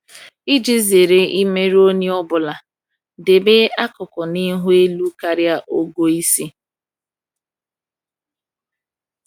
Iji zere imerụ onye ọ bụla, debe akụkụ n’ihu elu karịa ogo isi.